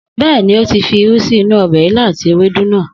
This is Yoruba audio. Bẹ́ẹ̀ni, ó ti fi irú sí inú ọbẹ̀ ilá àti ewédú náà.